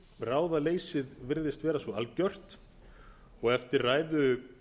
ráðaleysið virðist vera svo algert og eftir ræðu